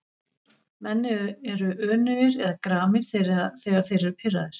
Menn eru önugir eða gramir þegar þeir eru pirraðir.